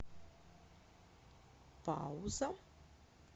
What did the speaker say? пауза